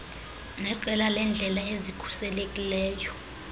neqela leendlela ezikhuselekileyo